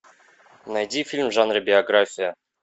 найди фильм в жанре биография